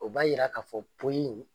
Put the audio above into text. O b'a jira k'a fɔ